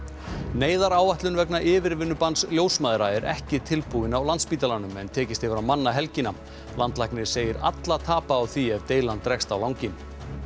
neyðaráætlun vegna yfirvinnubanns ljósmæðra er ekki tilbúin á Landspítalanum en tekist hefur að manna helgina landlæknir segir alla tapa á því ef deilan dregst á langinn